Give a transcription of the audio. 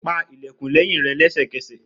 Pa ilẹkun lẹhin rẹ lẹsẹkẹsẹ!